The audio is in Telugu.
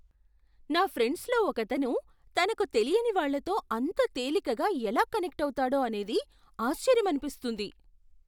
నా ఫ్రెండ్స్లో ఒకతను తనకు తెలియని వాళ్ళతో అంత తేలికగా ఎలా కనెక్ట్ అవుతాడో అనేది ఆశ్చర్యమనిపిస్తుంది.